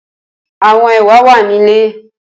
Awọn ewa wa ni ile.